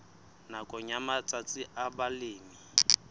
nakong ya matsatsi a balemi